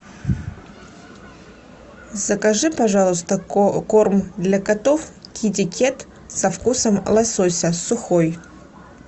закажи пожалуйста корм для котов китикет со вкусом лосося сухой